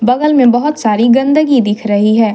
बगल में बहुत सारी गंदगी दिख रही है।